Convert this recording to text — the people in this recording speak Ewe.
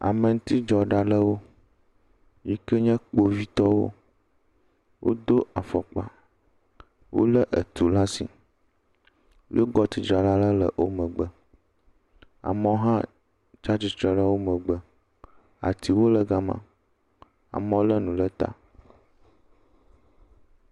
Ameɛutidzɔla ɖewo yiwo ke nye Kpovitɔwo. Wodo afɔkpa. Wolé etu laa si. Yewo kɔ tudzrala aɖe le wo megbe. Amewo hã tsa atsi tre le wo megbe. Atiwo le gama. Amewo lé nu le ta.